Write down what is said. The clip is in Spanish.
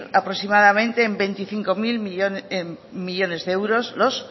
aproximadamente en veinticinco mil millónes de euros los